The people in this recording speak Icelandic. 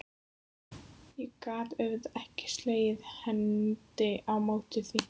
Ég gat auðvitað ekki slegið hendi á móti því.